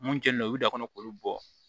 Mun kɛnen don u da kɔnɔ k'olu bɔ